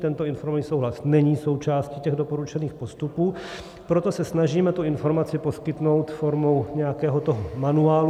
Tento informovaný souhlas není součástí těch doporučených postupů, proto se snažíme tu informaci poskytnout formou nějakého toho manuálu.